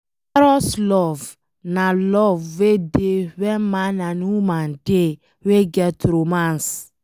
Eros love na love wey dey where man and woman dey, wey get romance